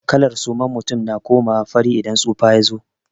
Kalar suman mutum na komawa fari idan tsufa ya zo.